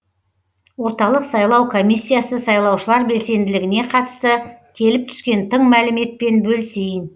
орталық сайлау комиссиясы сайлаушылар белсенділігіне қатысты келіп түскен тың мәліметпен бөлісейін